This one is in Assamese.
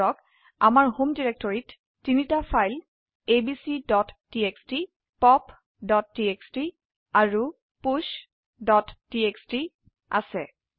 ধৰক আমাৰ হোম ডিৰেক্টৰিত ৩ টি ফাইল abcটিএক্সটি popটিএক্সটি আৰু pushটিএক্সটি আছে